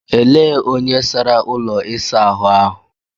Elee onye sara ụlọ ịsa ahu ahụ?